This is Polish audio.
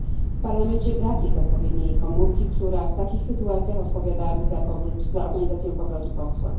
W Parlamencie brak jest odpowiedniej komórki, która w takich sytuacjach odpowiadałaby za organizację powrotu posła.